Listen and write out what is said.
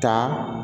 Taa